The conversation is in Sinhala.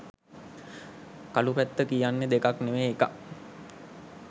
කළු පැත්ත කියන්නේ දෙකක් නෙවෙයි එකක්.